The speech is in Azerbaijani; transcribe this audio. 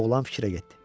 Oğlan fikrə getdi.